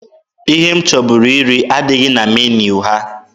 Ihe m chọburu iri adịghị na meniu ha.